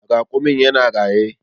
Raƙumin ya na raye.